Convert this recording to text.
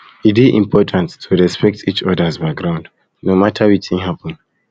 e dey important to respect each others background no matter wetin happen